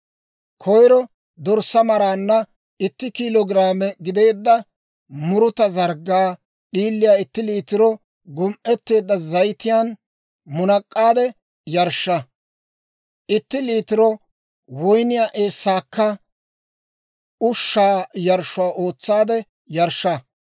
Koyro dorssaa maraanna itti kiilo giraame gideedda muruta zarggaa d'iiliyaa itti liitiro gum"eteedda zayitiyaan munak'aade yarshsha; itti liitiro woyniyaa eessaakka ushshaa yarshshuwaa ootsaadde yarshsha.